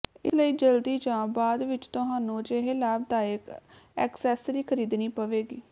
ਇਸ ਲਈ ਜਲਦੀ ਜਾਂ ਬਾਅਦ ਵਿਚ ਤੁਹਾਨੂੰ ਅਜਿਹੇ ਲਾਭਦਾਇਕ ਐਕਸੈਸਰੀ ਖਰੀਦਣੀ ਪਵੇਗੀ